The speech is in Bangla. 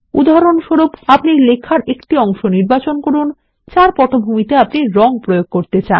উদাহরণস্বরূপ আপনি লেখার একটি অংশ নির্বাচন করুন যার পটভূমিতে আপনি রঙ প্রয়োগ করতে চান